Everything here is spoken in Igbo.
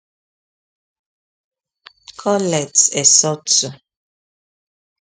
Colette Esotu